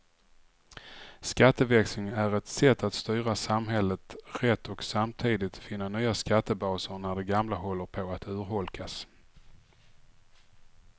Skatteväxling är ett sätt att styra samhället rätt och samtidigt finna nya skattebaser när de gamla håller på att urholkas.